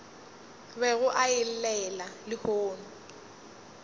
bego a e llela lehono